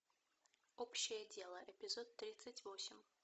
общее дело эпизод тридцать восемь